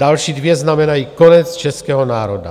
Další dvě znamenají konec českého národa.